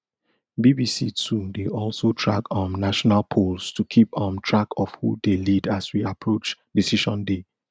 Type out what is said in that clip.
bbc too dey also track um national polls to to keep um track of who dey lead as we approach decision day